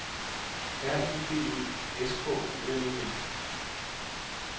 R I D E S K O L E N